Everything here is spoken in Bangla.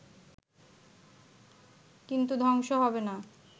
কিন্তু ধ্বংস হবে না